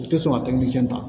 U tɛ sɔn ka ta